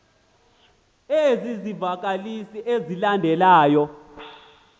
ezi zivakalisi zilandelayo